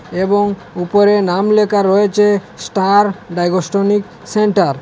এবং উপরে নাম লেখা রয়েছে স্টার ডাইগোষ্টনিক সেন্টার ।